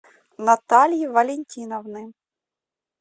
натальи валентиновны